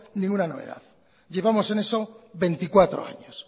ninguna novedad llevamos en eso veinticuatro años